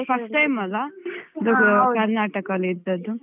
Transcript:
First time ಅಲ್ಲ ಕರ್ನಾಟಕದಲ್ಲಿ ಇದ್ದದ್ದು.